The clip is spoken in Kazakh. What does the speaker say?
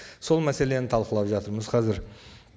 сол мәселені талқылап жатырмыз қазір